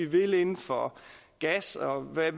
vil inden for gas og hvad